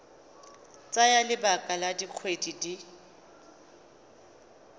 tsaya lebaka la dikgwedi di